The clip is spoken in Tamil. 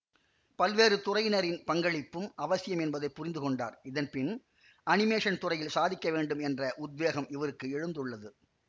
பல்வேறுதுறையினரின் பங்களிப்பும் அவசியம் என்பதை புரிந்து கொண்டார் இதன்பின் அனிமேசன் துறையில் சாதிக்கவேண்டும் என்ற உத்வேகம் இவருக்கு எழுந்துள்ளது